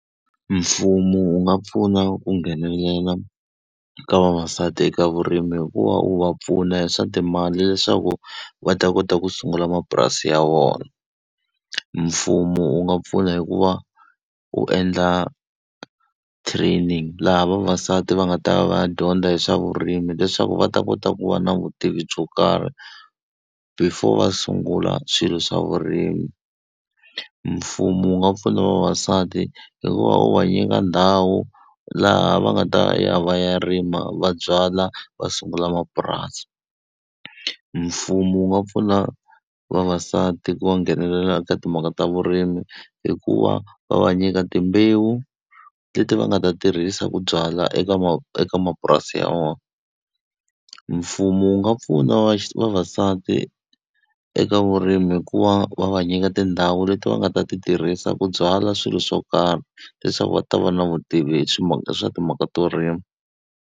Mfumo wu nga pfuna ku nghenelela ka vavasati eka vurimi hikuva u va pfuna hi swa timali leswaku va ta kota ku sungula mapurasi ya vona. Mfumo wu nga pfuna hi ku va u endla training laha vavasati va nga ta va ya dyondza hi swa vurimi leswaku va ta kota ku va na vutivi byo karhi, before va sungula swilo swa vurimi. Mfumo wu nga pfuna vavasati hikuva wu va nyika ndhawu laha va nga ta ya va ya rima va byala va sungula mapurasi. Mfumo wu nga pfuna vavasati ku va nghenelela eka timhaka ta vurimi hikuva va va nyika timbewu leti va nga ta tirhisa ku byala eka eka mapurasi ya vona. Mfumo wu nga pfuna vavasati eka vurimi hi ku va va va nyika tindhawu leti va nga ta ti tirhisa ku byala swilo swo karhi, leswaku va ta va na vutivi hi timhaka ta hi swa timhaka to rima.